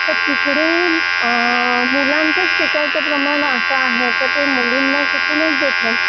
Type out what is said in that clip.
तर तिकडे मुलांचा शिकायचं प्रमाण असं आहे तर ते मुलींना शिकून देत नाही